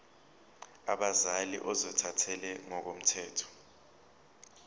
abazali ozothathele ngokomthetho